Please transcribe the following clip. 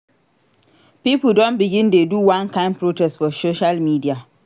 Pipo don begin dey do one kain protest for social media.